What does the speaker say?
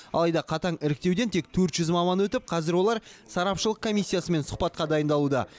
алайда қатаң іріктеуден тек төрт жүз маман өтіп қазір олар сарапшылық комиссиясымен сұхбатқа дайындалуда